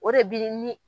O de bi ni